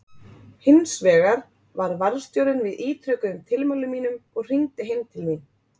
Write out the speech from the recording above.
Hinsvegar varð varðstjórinn við ítrekuðum tilmælum mínum og hringdi heim til mín.